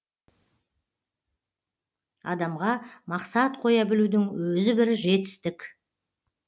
адамға мақсат қоя білудің өзі бір жетістік